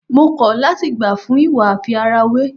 Mo kọ̀ láti gbà fún ìwà àfi ara wé.